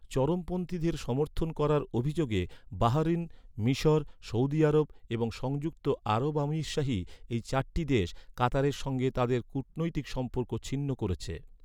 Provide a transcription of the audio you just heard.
চরমপন্থীদের' সমর্থন করার অভিযোগে বাহরিন, মিশর, সৌদি আরব এবং সংযুক্ত আরব আমিরশাহি, এই চারটি দেশ, কাতারের সঙ্গে তাদের কূটনৈতিক সম্পর্ক ছিন্ন করেছে।